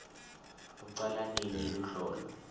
lucala nini luhlolo